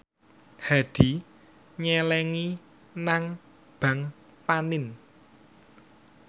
Hadi nyelengi nang bank panin